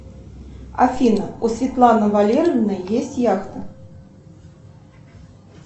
афина у светланы валерьевны есть яхта